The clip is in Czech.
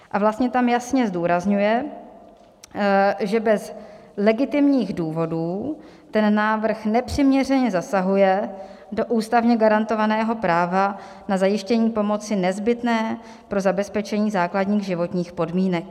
A vlastně tam jasně zdůrazňuje, že bez legitimních důvodů ten návrh nepřiměřeně zasahuje do ústavně garantovaného práva na zajištění pomoci nezbytné pro zabezpečení základních životních podmínek.